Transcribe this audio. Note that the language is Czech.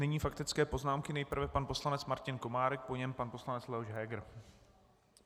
Nyní faktické poznámky, nejprve pan poslanec Martin Komárek, po něm pan poslanec Leoš Heger.